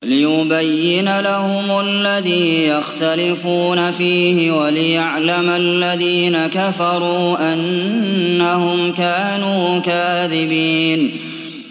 لِيُبَيِّنَ لَهُمُ الَّذِي يَخْتَلِفُونَ فِيهِ وَلِيَعْلَمَ الَّذِينَ كَفَرُوا أَنَّهُمْ كَانُوا كَاذِبِينَ